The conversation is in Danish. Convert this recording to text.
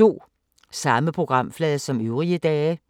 Samme programflade som øvrige dage